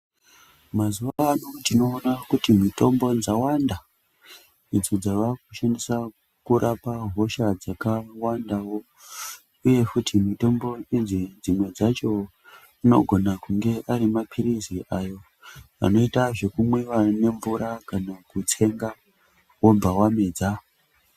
Mazuva ano tinoona kuti mitombo dzawanda idzo dzavakushandiswa kurapa hosha dzakawandavo, uye futi mutombo idzi dzimwe dzacho anogone kunge ari maphirizi ayo anoita zvekumwiva nemvura kana kutsenga vobva vamedza.